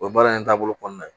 O ye baara in taabolo kɔnɔna ye